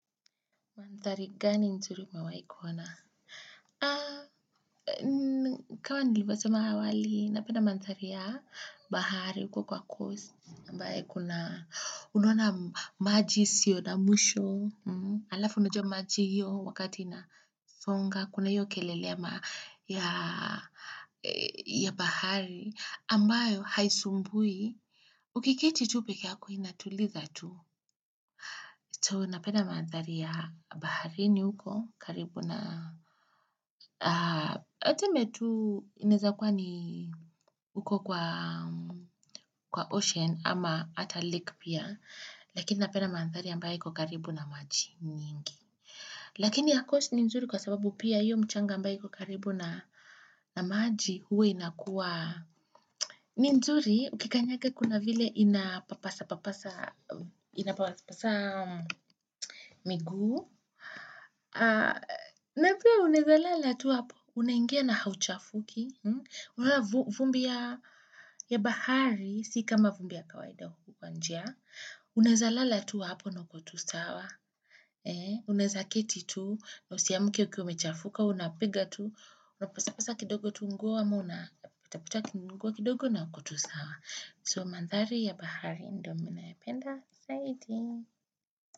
Mandhari gani nzuri umewahi kuona? Kama nilivyosema awali, napenda mandhari ya bahari, huko kwa coast. Mbayo kuna, unaona maji yasio na mwisho, alafu unjuwa maji hiyo wakati inasonga, kuna hiyo kelele ya ya bahari, ambayo haisumbwi. Ukiketi tu peke yako inatuliza tu. Napenda mandhari ya baharini huko karibu na tuseme tu, inaweza kuwa ni huko kwa ocean ama ata lake pia. Lakini napenda mandhari ambayo iko karibu na maji mengi. Lakini ya coast ni nzuri kwa sababu pia hiyo mchanga ambayo ikokaribu na maji huwa inakuwa. Ni nzuri, ukikanyaga kuna vile inapapasa miguu na pia unaweza kulala tu hapo unaingia na hauchafuki vumbi ya bahari si kama vumbi ya kawaida huku kwa njia unaweza kulala tu hapo na uko tusawa unaweza kuketi tu na usiamke ukiwa umechafuka unapiga tu. Unapasa pasa kidogo tu nguo ama una pitapita tu nguo kidogo na uko tu sawa, so mandhari ya bahari ndiyo ninaipenda zaidi.